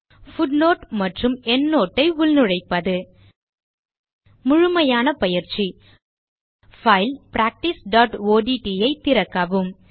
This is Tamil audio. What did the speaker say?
பூட்னோட் மற்றும் எண்ட்னோட் ஐ உள்நுழைப்பது முழுமையான பயிற்சி பைல் practiceஒட்ட் ஐ திறக்கவும்